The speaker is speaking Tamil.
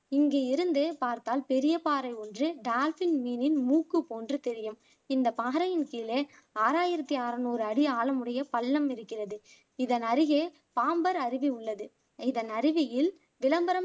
இங்கு இருந்து பார்த்தால் பெரிய பாறை ஒன்று டால்பின் மீனின் மூக்கு போன்று தெரியும் இந்த பாறையின் கீழே ஆறாயிரத்தி அறநூறு அடி ஆழமுடைய பள்ளம் இருக்கிறது இதன் அருகே பாம்பர் அருவி உள்ளது இதன் அருவியில் விளம்பரம்